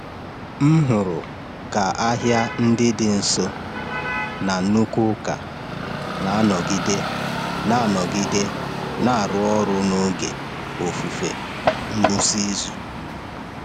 M hụrụ ka ahịa ndị dị nso na nnukwu ụka na-anọgide na-anọgide na-arụ ọrụ n’oge ofufe ngwụsị izu.